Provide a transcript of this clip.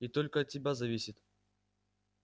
и только от тебя зависит